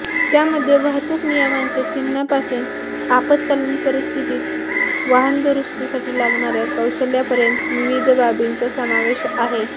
त्यामध्ये वाहतूक नियमांच्या चिन्हांपासून आपत्कालीन परिस्थितीत वाहन दुरुस्तीसाठी लागणाऱ्या कौशल्यापर्यंत विविध बाबींचा समावेश आहे